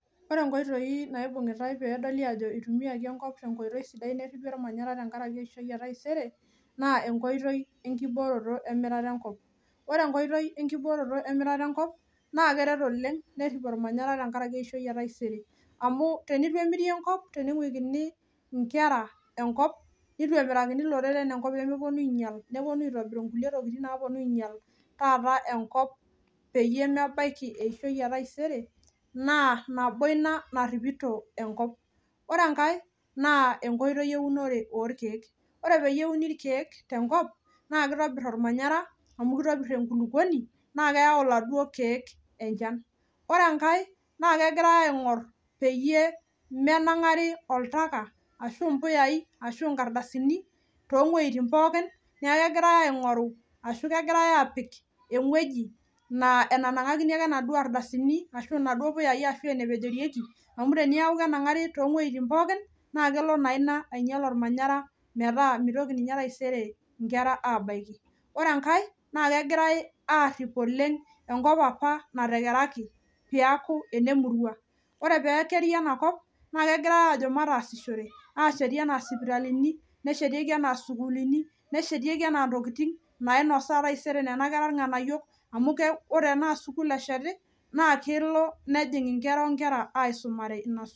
Ore inkoitoi naibung'itae peedoli aajo itumiaki enkop tenkoitoi sidai nerripi ormanyara tenkaraki eishoi e taisere naa enkoitoi enkibooroto emirata enkop ore enkoitoi enkibooroto emirata enkop naa keret oleng nerrip ormanyara tenkaraki eishoi e taisere amu tenitu emiri enkop tening'uikini inkera enkop nitu emirakini iloreren enkop pemeponu ainyial neponu aitobiru inkuli tokiting naaponu ainyial taata enkop peyie mebaiki esishoi e taisere naa nabo ina narripito enkop ore enkae naa enkoitoi eunore orkeek ore peyie euni irkeek tenkop naa kitobirr ormanyara amu kitopirr enkulukuoni naa keyau iladuo keek enchan ore enkae naa kegirae aing'orr peyie menang'ari oltaka ashu impuyai ashu inkardasini tong'ueitin pookin niaku kegirae aing'oru ashu kegirae aapik eng'ueji naa enanang'akini ake inaduo ardasini ashu inaduo puyai ashu enepejorieki amu teniaku kenang'ari tong'ueitin pookin naa kelo naa ina alo ainyial olmanyara metaa mitoki ninye taisere inkera aabaiki ore enkae naa kegirae aarrip oleng enkop apa natekeraki piaku ene murua ore pekeri enakop naa kegirae aajo mataasishore asheti enaa isipitalini neshetieki enaa isukulini neshetieki anaa intokiting nainosaa taisere nena kera irng'anayiok amu keu ore enaa sukuul esheti naa kelo nejing inkera onkera aisumare inas.